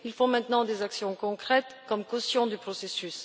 il faut maintenant des actions concrètes pour cautionner le processus.